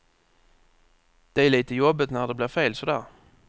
Det är lite jobbigt när det blir fel sådär.